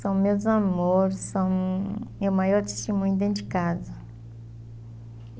São meus amores, são o meu maior testemunho dentro de casa.